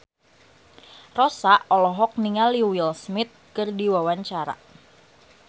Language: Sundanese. Rossa olohok ningali Will Smith keur diwawancara